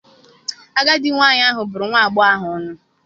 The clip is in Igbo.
Agadi nwaanyị ahụ bụrụ nwa agbọghọ ahụ ọnụ.